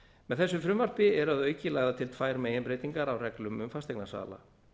með þessu frumvarpi eru að auki lagðar til tvær meginbreytingar á reglum um fasteignasala